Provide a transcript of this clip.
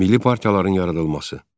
Milli partiyaların yaradılması.